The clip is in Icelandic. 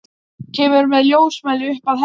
Kemur með ljósmæli upp að henni.